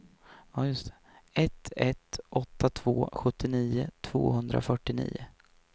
ett ett åtta två sjuttionio tvåhundrafyrtionio